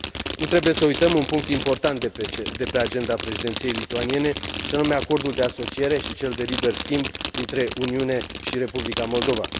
Nu trebuie să uităm un punct important de pe agenda Președinției lituaniene, și anume Acordul de Asociere și cel de liber schimb dintre Uniune și Republica Moldova.